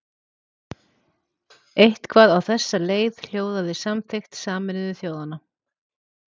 Eitthvað á þessa leið hljóðaði samþykkt Sameinuðu þjóðanna.